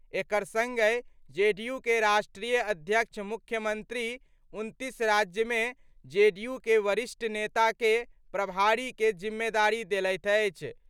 एकर संगहि जेडीयू के राष्ट्रीय अध्यक्ष मुख्यमंत्री 29 राज्य मे जेडीयू के वरिष्ठ नेता के प्रभारी के जिम्मेदारी देलथि अछि।